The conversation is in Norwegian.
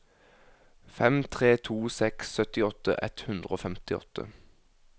fem tre to seks syttiåtte ett hundre og femtiåtte